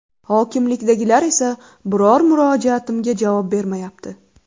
Hokimlikdagilar esa biror murojaatimga javob bermayapti.